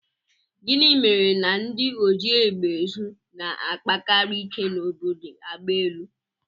Gịnị mere na ndị ojiegbeezu na-akpakarị ike n'obodo agbaelu